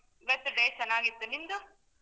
ಇವತ್ತು day ಚನ್ನಾಗಿತ್ತು ನಿಮ್ದು?